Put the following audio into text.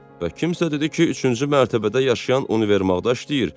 "Bə kimsa dedi ki, üçüncü mərtəbədə yaşayan Univermağda işləyir.